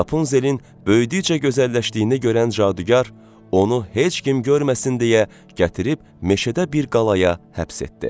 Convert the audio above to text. Rapunzelin böyüdükcə gözəlləşdiyini görən cadugar onu heç kim görməsin deyə gətirib meşədə bir qalaya həbs etdi.